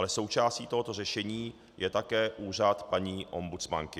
Ale součástí tohoto řešení je také úřad paní ombudsmanky.